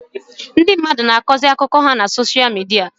Ndị mmadụ na-akọzi akụkọ ha na soshia midia